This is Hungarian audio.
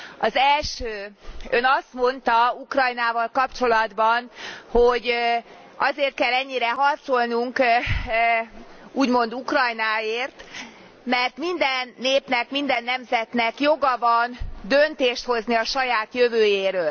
Az első Ön azt mondta Ukrajnával kapcsolatban, hogy azért kell ennyire harcolnunk, úgymond Ukrajnáért, mert minden népnek, minden nemzetnek joga van döntést hozni a saját jövőjéről.